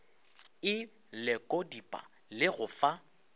e lekodipa le go fa